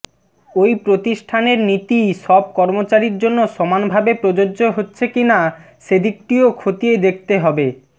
ওই প্রতিষ্ঠানের নীতি সব কর্মচারীর জন্য সমানভাবে প্রযোজ্য হচ্ছে কিনা সেদিকটিও খতিয়ে দেখতে হবে